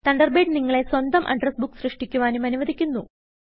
Thunderbird നിങ്ങളെ സ്വന്തം address book സൃഷ്ടിക്കുവാനും അനുവദിക്കുന്നു